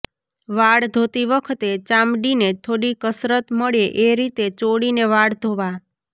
વાળ ધોતી વખતે ચામડીને થોડી કસરત મળે એ રીતે ચોળીને વાળ ધોવા